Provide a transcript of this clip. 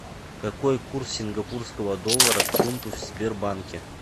какой курс сингапурского доллара к фунту в сбербанке